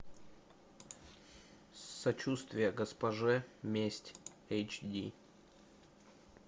сочувствие госпоже месть эйч ди